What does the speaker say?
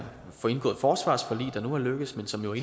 få indgået forsvarsforlig der nu er lykkedes men som jo